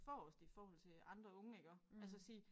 Forrest i forhold til andre iggå altså sige